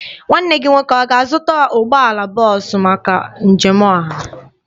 Nwanne gị nwoke ọ ga-azụta ụgbọala bọọsụ maka njem ọha?